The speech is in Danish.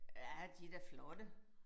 Ja de da flotte